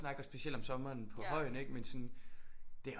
Snakker specielt om sommeren på højen ikke men sådan det